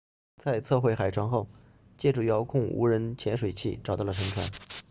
在测绘海床后借助遥控无人潜水器 rov 找到了沉船